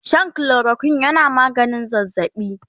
Shan chloroquine yana maganin zazzabi